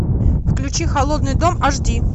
включи холодный дом аш ди